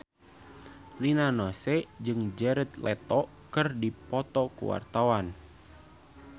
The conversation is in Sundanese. Rina Nose jeung Jared Leto keur dipoto ku wartawan